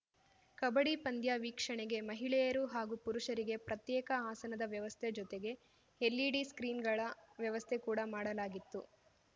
ಕಬ್ಬಡಿ ಪಂದ್ಯ ವೀಕ್ಷಣೆಗೆ ಮಹಿಳೆಯರು ಹಾಗೂ ಪುರುಷರಿಗೆ ಪ್ರತ್ಯೇಕ ಆಸನದ ವ್ಯವಸ್ಥೆ ಜೊತೆಗೆ ಎಲ್‌ಇಡಿ ಸ್ಕ್ರೀನ್‌ಗಳ ವ್ಯವಸ್ಥೆ ಕೂಡಾ ಮಾಡಲಾಗಿತ್ತು